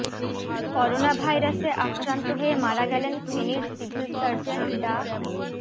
করোনাভাইরাসে আক্রান্ত হয়ে মারা গেলেন ফেনীর সিভিল সার্জন ডা